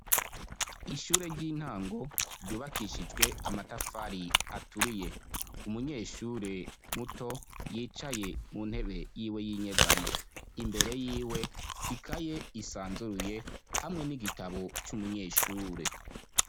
Ishure ry'intango ryubakishijwe amatafari aturiye, umunyeshure muto yicaye mu ntebe yiwe y'inyegamo, imbere yiwe ikaye isanzuruye hamwe n'igitabo c'umunyeshure.